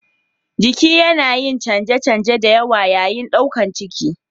Jiki yana yin canje-canje da yawa yayin ɗaukar ciki.